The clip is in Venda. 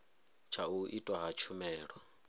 tsha u itwa ha tshumelo